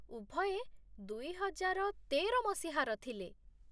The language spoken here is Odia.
ଉଭୟେ ଦୁଇହଜାର ତେର ମସିହାର ଥିଲେ।